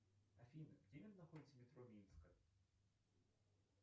афина где находится метро минская